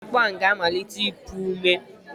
Kedu mgbe akpu ahụ ga-amalite ịpụ ome?